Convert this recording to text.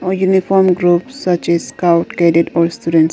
A uniform group such as scout cadet or students.